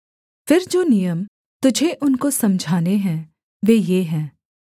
फिर जो नियम तुझे उनको समझाने हैं वे ये हैं